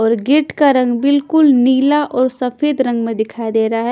और गेट का रंग बिल्कुल नीला और सफेद रंग में दिखाई दे रहा है।